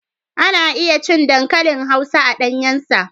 Ana iya cin dankalin hausa a ɗanyen sa.